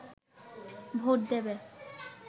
vote দেবে